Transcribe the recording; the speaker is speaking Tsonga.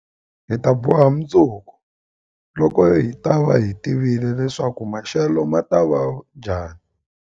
Hi ta boha mundzuku, loko hi ta va hi tivile leswaku maxelo ma ta va njhani.